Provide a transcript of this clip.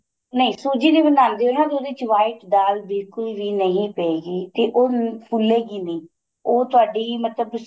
ਨਹੀਂ ਸੂਜੀ ਦੀ ਬਣਾਂਦੇ ਓ ਨਾ ਉਹਦੇ ਚ white ਦਾਲ ਬਿਲਕੁਲ ਵੀ ਨਹੀਂ ਪਏਗੀ ਤੇ ਉਹ ਫੁੱਲੇ ਗੀ ਨੀਂ ਉਹ ਤੁਹਾਡੀ ਮਤਲਬ dis